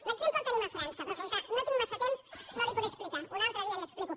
l’exemple el tenim a frança però com que no tinc massa temps no l’hi podré explicar un altre dia l’hi explico